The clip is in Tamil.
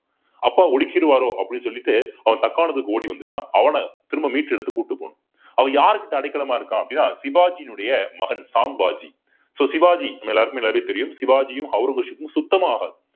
அப்பா ஒடுக்கிடுவாரோ அப்படின்னு சொல்லிட்டு அவன் தக்காணத்துக்கு ஓடி வந்துட்டான். அவன திரும்ப மீட்டெடுத்து கூட்டு போகனும் அவன் யார்கிட்ட அடைக்கலமா இருக்கான் அப்படின்னா சிவாஜியினுடைய மகன் சாம் வாஜி so சிவாஜி நம்ம எல்லாருக்குமே நல்லாவே தெரியும் சிவாஜியும் ஔரங்கசீப் சுத்தமாகாது.